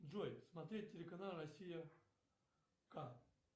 джой смотреть телеканал россия к